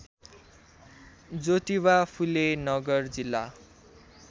ज्योतिबा फुले नगर जिल्ला